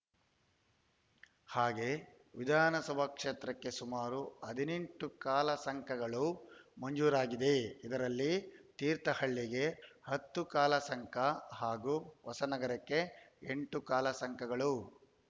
ಹಾಗೇ ವಿಧಾನಸಭಾ ಕ್ಷೇತ್ರಕ್ಕೆ ಸುಮಾರು ಹದಿನೆಂಟು ಕಾಲುಸಂಕಗಳು ಮಂಜೂರಾಗಿದೆ ಇದರಲ್ಲಿ ತೀರ್ಥಹಳ್ಳಿಗೆ ಹತ್ತು ಕಾಲಸಂಕ ಹಾಗೂ ಹೊಸನಗರಕ್ಕೆ ಎಂಟು ಕಾಲುಸಂಕಗಳು